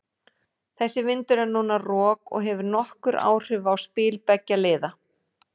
Þessi vindur er núna rok og hefur nokkur áhrif á spil beggja liða.